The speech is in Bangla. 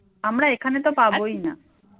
আমরা এখানে তো পাবই না